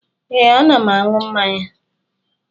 Ee, ana m aṅụ mmanya